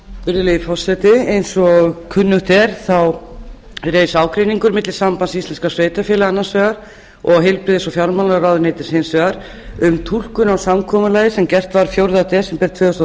virðulegi forseti eins og kunnugt er reis ágreiningur á milli sambands íslenskra sveitarfélaga annars vegar og heilbrigðis og fjármálaráðuneytis hins vegar um túlkun á samkomulag sem gert var fjórða desember tvö þúsund og